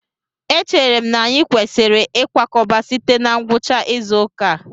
Echere m na anyị kwesịrị ịkwakọba site na ngwucha izu ụka a